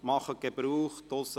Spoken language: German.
Machen Sie Gebrauch davon.